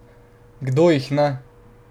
Kdo jih ne?